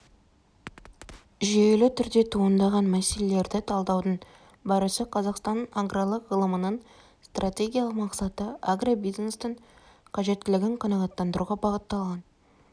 жүйелі түрде туындаған мәселелерді талдаудың барысы қазақстанның аграрлық ғылымының стратегиялық мақсаты агробизнестің қажеттілігін қанағаттандыруға бағытталған